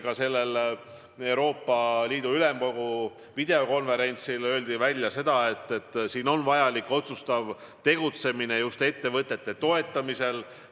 Ka eilsel Euroopa Ülemkogu videokonverentsil öeldi, et vajalik on otsustav tegutsemine just ettevõtete toetamisel.